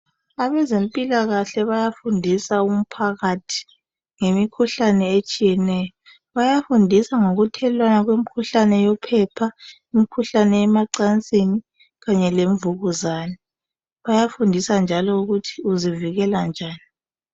abezempilakahle bayafundisa umphakathi ngemikhuhlane etshiyeneyo bayafundisa ngokuthelelwana kwemikhuhlane yophepha imikhuhlane yemacansini kanye lemvukuzane bayafundisa njalo ukuthi uzivikela njani